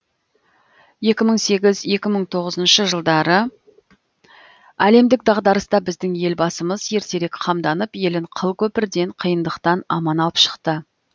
екі мың сегіз екі мың тоғызыншы жылдары әлемдік дағдарыста біздің елбасымыз ертерек қамданып елін қыл көпірден қиындықтан аман алып шықты